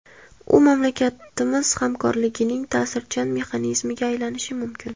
U mamlakatlarimiz hamkorligining ta’sirchan mexanizmiga aylanishi mumkin.